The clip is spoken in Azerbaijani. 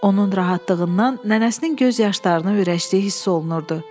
Onun rahatlığından nənəsinin göz yaşlarını ürəkləşdiyi hiss olunurdu.